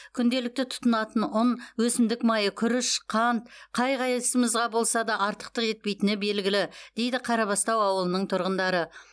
күнделікті тұтынатын ұн өсімдік майы күріш қант қай қайсымызға болса да артықтық етпейтіні белгілі дейді қарабастау ауылының тұрғындары